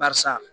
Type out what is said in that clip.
Barisa